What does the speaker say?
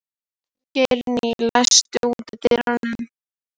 Geirný, læstu útidyrunum.